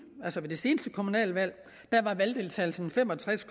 altså ved det seneste kommunalvalg var valgdeltagelsen fem og tres